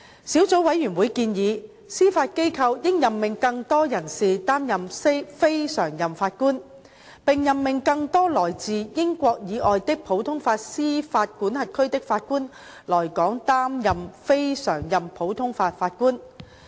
小組委員會建議，司法機構應任命更多人士擔任非常任法官，並任命更多來自英國以外的普通法司法管轄區的法官來港擔任非常任普通法法官。